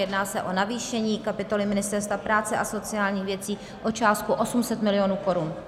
Jedná se o navýšení kapitoly Ministerstva práce a sociálních věcí o částku 800 mil. korun.